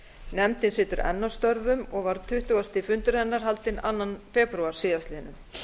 nefndin situr enn að störfum og var tuttugasta fundur hennar haldinn annan febrúar síðastliðinn